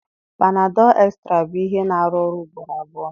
panadol Extra bụ ihe na-arụ ọrụ ugboro abụọ.